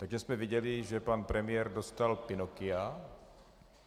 Takže jsme viděli, že pan premiér dostal Pinocchia.